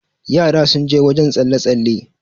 yara sun je wajen tsalle- tsalle